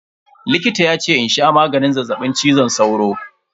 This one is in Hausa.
Likita yace in sha maganin zazzaɓin cizon sauro.